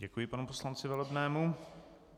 Děkuji panu poslanci Velebnému.